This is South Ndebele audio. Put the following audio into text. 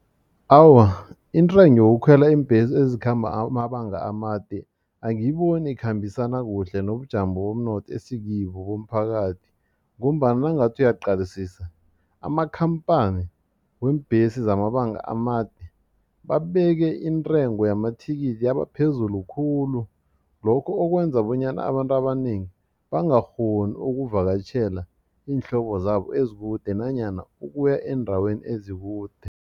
Awa, intengo yokukhwela iimbhesi ezikhamba amabanga amade angiyiboni ikhambisana kuhle nobujamo bomnotho esikibo bomphakathi ngombana nawungathi uyaqalisisa amakhamphani weembhesi zamabanga amade babeke intengo yamathikithi yabaphezulu khulu lokho okwenza bonyana abantu abanengi bangakghoni ukuvakatjhela iinhlobo zabo ezikude nanyana ukuya eendaweni ezikude.